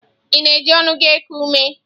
Ị na-eji ọnụ gị eku ume?